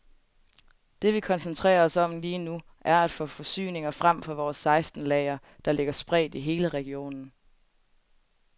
Det vi koncentrerer os om lige nu, er at få forsyninger frem fra vores seksten lagre, der ligger spredt i hele regionen.